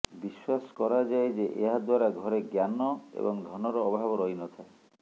ବିଶ୍ୱାସ କରାଯାଏ ଯେ ଏହା ଦ୍ୱାରା ଘରେ ଜ୍ଞାନ ଏବଂ ଧନର ଅଭାବ ରହିନଥାଏ